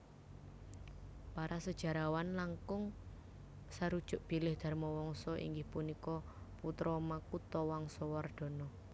Para sejarawan langkung sarujuk bilih Dharmawangsa inggih punika putra Makutawangsawardhana